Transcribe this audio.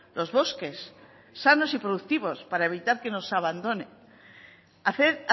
los bosques sanos y productivos para evitar que nos abandone hacer